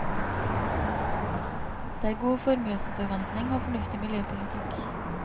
Det er god formuesforvaltning og fornuftig miljøpolitikk.